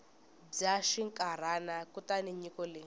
bya xinkarhana kutani nyiko leyi